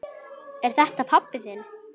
Er þetta pabbi þinn?